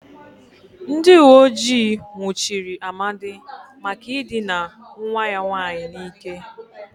Ndị uweojii nwụchiri Amadi maka ịdịna nwa ya nwaanyị n'ike.